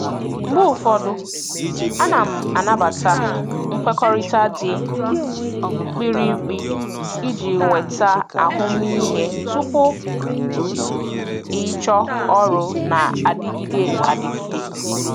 Mgbe ụfọdụ, ana m anabata nkwekọrịta dị mkpirikpi iji nweta ahụmịhe tupu ịchọọ ọrụ na-adịgide adịgide.